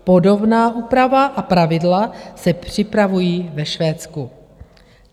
Podobná úprava a pravidla se připravují ve Švédsku.